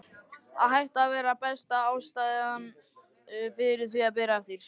Að hætta var besta ástæðan fyrir því að byrja aftur.